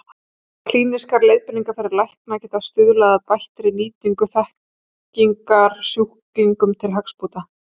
Klínískar leiðbeiningar fyrir lækna geta stuðlað að bættri nýtingu þekkingar sjúklingum til hagsbóta.